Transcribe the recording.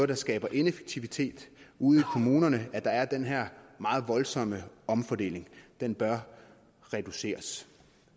det skaber ineffektivitet ude i kommunerne at der er den her meget voldsomme omfordeling den bør reduceres